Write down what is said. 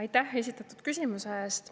Aitäh esitatud küsimuse eest!